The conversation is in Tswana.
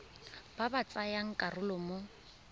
ba ba tsayang karolo mo